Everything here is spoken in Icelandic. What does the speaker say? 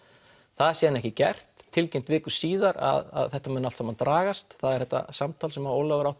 það er síðan ekki gert tilkynnt viku síðar að þetta muni allt saman dragast það er þetta samtal sem Ólafur átti